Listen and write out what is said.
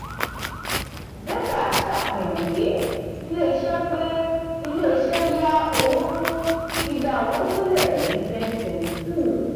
détà ṣàfihàn pé ilé iṣẹ́ pé ilé iṣẹ́ yá owó fún dídá òwò sílẹ̀ ní twenty twenty two.